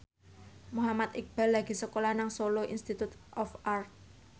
Muhammad Iqbal lagi sekolah nang Solo Institute of Art